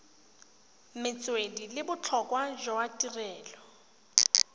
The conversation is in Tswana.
metswedi le botlhokwa jwa tirelo